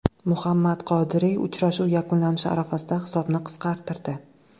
Muhammad Qodiri uchrashuv yakunlanishi arafasida hisobni qisqartirdi.